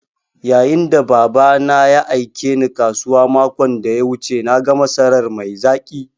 Yayin da Baba na ya aike Ni kasuwa makon da ya wuce na ga masarar mai zaƙi.